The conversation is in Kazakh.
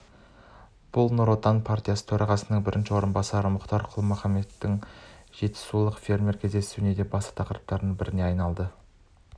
бұл нұр отан партиясы төрағасының бірінші орынбасары мұхтар құл-мұхаммедтің жетісулық фермерлермен кездесуінде басты тақырыптардың біріне айналды